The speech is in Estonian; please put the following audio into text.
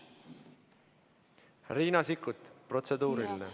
Riina Sikkut, protseduuriline.